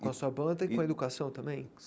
Com a sua banda e com a educação também?